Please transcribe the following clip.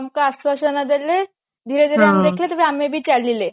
ଆମକୁ ଆଶ୍ଵାସନା ଦେଲେ ଧୀରେ ଧୀରେ ଆମେ ଦେଖିଲେ ତାପରେ ଆମେ ବି ଚାଲିଲେ